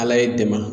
Ala ye dɛmɛ